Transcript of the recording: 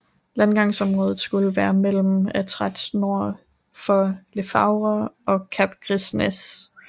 Landgangsområdet skulle være mellem Étretat nord for Le Havre og Cap Gris Nez